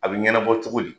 A bɛ ɲɛnabɔ cogo di